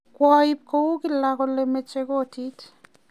kwa ib kou kila kole mache kot